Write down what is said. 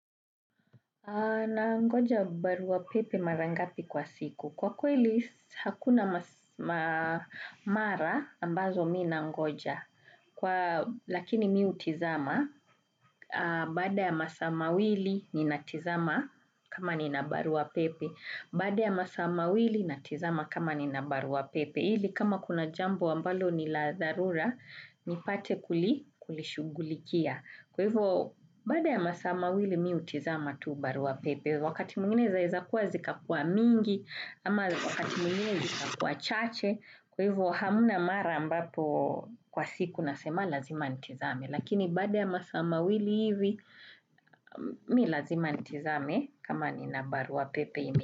Nangoja barua pepe mara ngapi kwa siku. Kwa kweli hakuna mara ambazo mimi nangoja. Lakini mimi hutizama, baada ya masaa mawili ninatizama kama nina barua pepe. Baada ya masaa mawili natizama kama nina barua pepe. Ili kama kuna jambo ambalo ni la dharura, nipate kulishughulikia. Kwa hivyo, baada ya masaa mawili mimi hutizama tu barua pepe. Wakati mwingine zaezakuwa zikakuwa mingi, ama wakati mwinginezi zikakuwa chache. Kwa hivyo, hamna mara ambapo kwa siku nasema lazima nitizame. Lakini baada ya masaa mawili hivi, mimi lazima nitizame kama nina barua pepe.